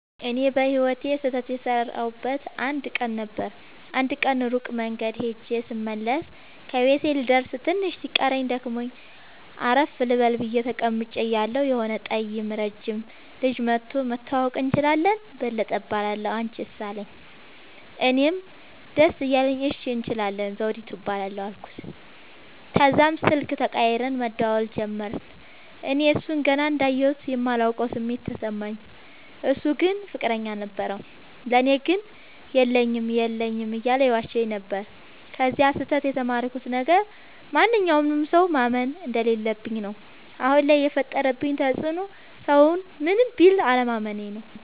እኔ በህይወቴ ስህተት የሠረውበት አንድ ቀን ነበር። አንድ ቀን ሩቅ መንገድ ኸጀ ስመለስ ከቤቴ ልደርስ ትንሽ ሲቀረኝ ደክሞኝ አረፍ ልበል ብየ ተቀምጨ እያለሁ የሆነ ጠይም ረጅም ልጅ መኧቶ<< መተዋወቅ እንችላለን በለጠ እባላለሁ አንችስ አለኝ>> አለኝ። እኔም ደስ እያለኝ እሺ እንችላለን ዘዉዲቱ እባላለሁ አልኩት። ተዛም ስልክ ተቀያይረን መደዋወል ጀመርን። እኔ እሡን ገና እንዳየሁት የማላቀዉ ስሜት ተሰማኝ። እሡ ግን ፍቅረኛ ነበረዉ። ለኔ ግን የለኝም የለኝም እያለ ይዋሸኝ ነበር። ከዚ ስህተ ት የተማርኩት ነገር ማንኛዉንም ሠዉ ማመን እንደለለብኝ ነዉ። አሁን ላይ የፈጠረብኝ ተፅዕኖ ሠዉን ምንም ቢል አለማመኔ ነዉ።